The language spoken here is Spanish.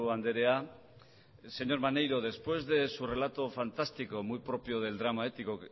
andrea señor maneiro después de su relato fantástico muy propio del drama épico